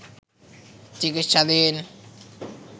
চিকিৎসাধীন